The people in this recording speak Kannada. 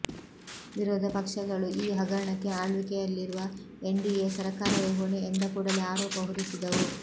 ವಿರೋಧ ಪಕ್ಷಗಳು ಈ ಹಗರಣಕ್ಕೆ ಆಳ್ವಿಕೆಯಲ್ಲಿರುವ ಎನ್ಡಿಎ ಸರಕಾರವೇ ಹೊಣೆ ಎಂದು ಕೂಡಲೇ ಆರೋಪ ಹೊರಿಸಿದವು